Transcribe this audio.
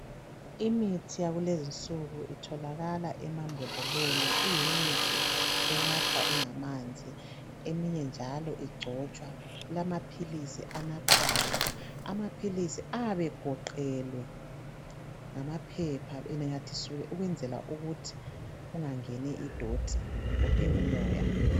Imithi yakulezinsuku itholakala emambhodleleni iyimithi enathwa ingamanzi eminye njalo igcotshwa kulamaphilisi anathwayo. Amaphilisi ayabe egoqelwe ngamaphepha enanyathiselwe ukwenzela ukuthi engangeni idoti kumbe umoya.